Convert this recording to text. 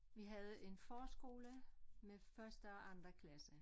Vi havde en forskole med første og anden klasse